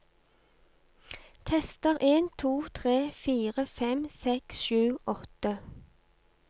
Tester en to tre fire fem seks sju åtte